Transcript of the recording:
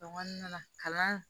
kɔnɔna na kalan